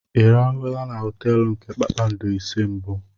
Ị rahụla na họteelu nke kpakpando ise mbụ?